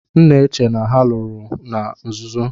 M na-che na ha lụrụ na nzuzo.